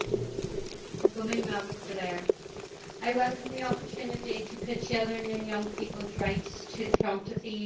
Mr President, I welcome the opportunity to put children and young people's rights to the front of the EU agenda.